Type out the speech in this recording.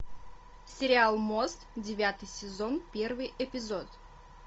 сериал мост девятый сезон первый эпизод